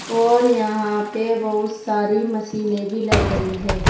और यहां पे बहुत सारी मशीने भी लग रही है।